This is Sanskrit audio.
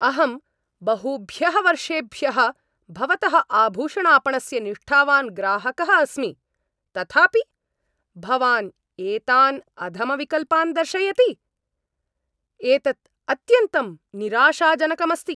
अहं बहुभ्यः वर्षेभ्यः भवतः आभूषणापणस्य निष्ठावान् ग्राहकः अस्मि, तथापि भवान् एतान् अधमविकल्पान् दर्शयति? एतत् अत्यन्तं निराशाजनकम् अस्ति।